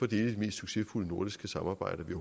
de mest succesfulde nordiske samarbejder vi